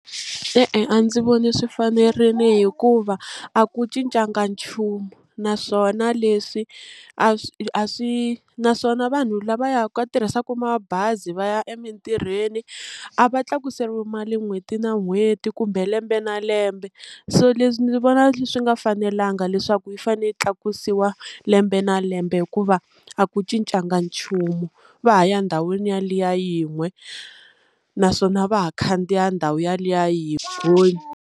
E-e a ndzi voni swi fanerini hikuva a ku cincanga nchumu naswona leswi a swi a swi naswona vanhu lava ya ka tirhisaka mabazi va ya emintirhweni a va tlakuseriwi mali n'hweti na n'hweti kumbe lembe na lembe, so leswi ndzi vona swi nga fanelanga leswaku yi fanele yi tlakusiwa lembe na lembe hikuva a ku cincanga nchumu va ha ya ndhawini yaliya yin'we naswona va ha khandziya ndhawu yaliya yi .